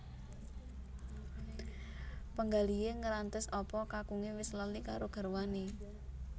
Penggalihe ngrantes apa kakunge wis lali karo garwane